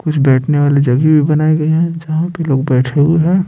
कुछ बैठने वाली जगह भी बनाए गए हैं जहां पे लोग बैठे हुए हैं।